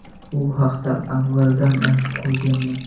Bu haqda avvaldan aytib qo‘yganman.